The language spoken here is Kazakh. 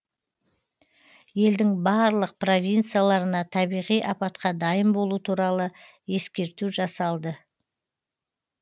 елдің барлық провинцияларына табиғи апатқа дайын болу туралы ескерту жасалды